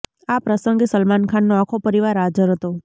આ પ્રસંગે સલમાન ખાનનો આખો પરિવાર હાજર હતો